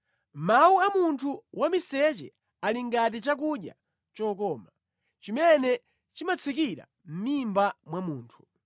Mawu a munthu wamiseche ali ngati chakudya chokoma; chimene chimatsikira mʼmimba mwa munthu.